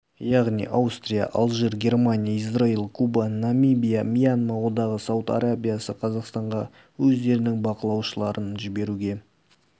яғни аустрия алжир германия израиль куба намибия мьянма одағы сауд арабиясы қазақстанға өздерінің бақылаушыларын жіберуге